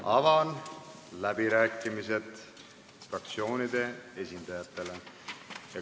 Avan läbirääkimised fraktsioonide esindajatele.